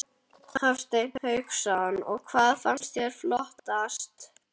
Hafsteinn Hauksson: Og hvað fannst þér flottast?